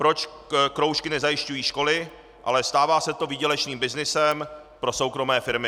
Proč kroužky nezajišťují školy, ale stává se to výdělečným byznysem pro soukromé firmy.